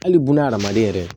Hali buna adamaden yɛrɛ